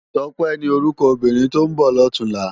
Tope ni órúkò óbìrín tó n bò lòtúnlâ